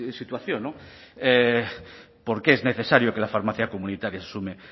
situación por qué es necesario que la farmacia comunitaria se sume